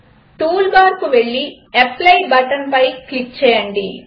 tool బార్కు వెళ్లి apply బటన్పై క్లిక్ చేయండి